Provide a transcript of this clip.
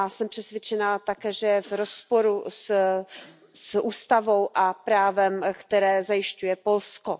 Jsem také přesvědčena, že je v rozporu s ústavou a právem, které zajišťuje Polsko.